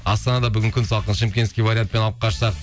астанада бүгін күн салқын шымкентский вариантпен алып қашсақ